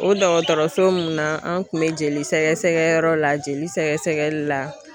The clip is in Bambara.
O dɔgɔtɔrɔso mun na an tun bɛ jeli sɛgɛsɛgɛ yɔrɔ la, jeli sɛgɛsɛgɛli la.